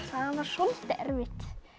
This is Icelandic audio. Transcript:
það var soldið erfitt